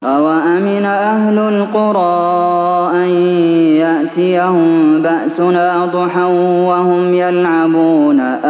أَوَأَمِنَ أَهْلُ الْقُرَىٰ أَن يَأْتِيَهُم بَأْسُنَا ضُحًى وَهُمْ يَلْعَبُونَ